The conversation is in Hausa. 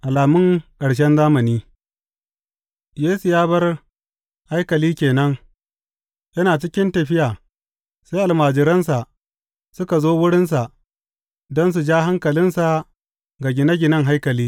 Alamun ƙarshen zamani Yesu ya bar haikali ke nan, yana cikin tafiya sai almajiransa suka zo wurinsa don su ja hankalinsa ga gine ginen haikali.